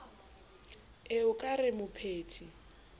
ee o ka re mopheti